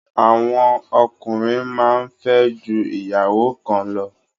Àwọn ọkùnrin máa ń fẹ́ ju ìyàwó kan lọ